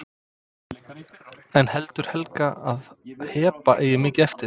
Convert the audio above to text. En heldur Helga að Heba eigi mikið eftir?